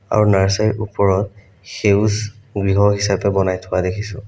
আৰু নাৰ্ছাৰীৰ ওপৰত সেউজ গৃহ হিচাপে বনাই থকা দেখিছোঁ।